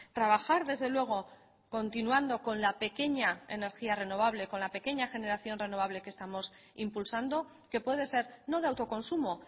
trabajar desde luego continuando con la pequeña energía renovable con la pequeña generación renovable que estamos impulsando que puede ser no de autoconsumo